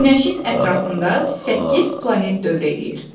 Günəşin ətrafında səkkiz planet dövr edir.